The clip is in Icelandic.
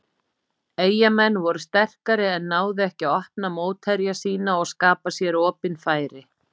Eyjamenn voru sterkari en náðu ekki að opna mótherja sína og skapa sér opin færi.